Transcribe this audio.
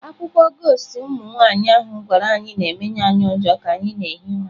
Akụkọ ghost im nwaanyị ahụ gwara anyị na-emenye anyị ụjọ ka anyị na-ehi ụra.